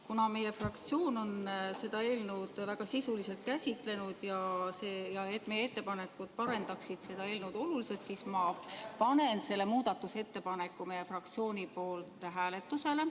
Kuna meie fraktsioon on seda eelnõu väga sisuliselt käsitlenud ja meie ettepanekud parandaksid seda oluliselt, siis ma panen selle muudatusettepaneku meie fraktsiooni nimel hääletusele.